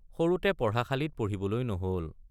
সৰুতে পঢ়াশালিত পঢ়িবলৈ নহল।